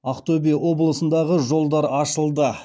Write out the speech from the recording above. ақтөбе облысындағы жолдар ашылды